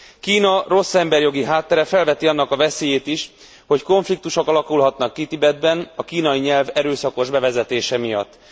Kína rossz emberjogi háttere felveti annak a veszélyét is, hogy konfliktusok alakulhatnak ki Tibetben a kínai nyelv erőszakos bevezetése miatt.